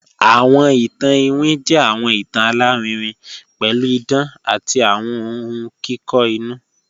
Awọn ìtàn ìwín jẹ́ awọn ìtàn alárìírìn pẹ̀lú ìdán àti awọn ọ̀hun kikọ inú